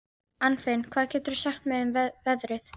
Anfinn, hvað geturðu sagt mér um veðrið?